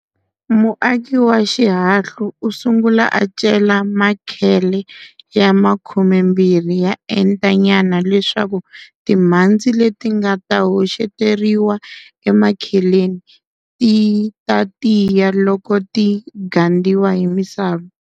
Muaki wa xihahlu u sungula a cela makhele ya khumembirhi ya enta nyana leswaku timhandzi leti nga ta hoxeteriwa emakheleni ti ta tiya loko ti gandiwa hi misava.